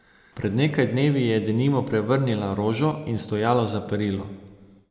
Pred nekaj dnevi je denimo prevrnila rožo in stojalo za perilo.